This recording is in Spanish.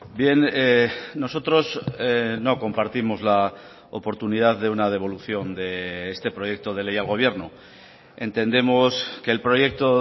bien nosotros no compartimos la oportunidad de una devolución de este proyecto de ley al gobierno entendemos que el proyecto